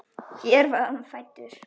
Hér var hann fæddur.